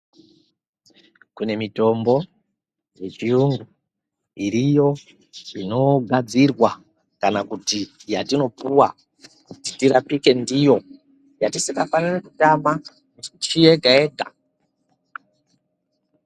Kune mitombo dzechiyungu iriyo inogadzirwa kana kuti yatinopuwa kuti tirapike ndiyo yetisingafaniri kutama misi yega yega.